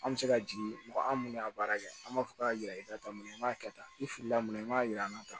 An bɛ se ka jigin mɔgɔ an minnu y'a baara kɛ an b'a fɔ k'a yira i la tanna i b'a kɛ tan i filila mun na i b'a yir'an na tan